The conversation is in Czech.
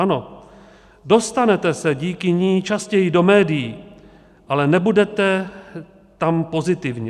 Ano, dostanete se díky ní častěji do médií, ale nebudete tam pozitivně.